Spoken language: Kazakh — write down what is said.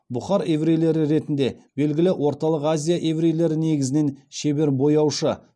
бұхар еврейлері ретінде белгілі орталық азия еврейлері негізінен шебер бояушы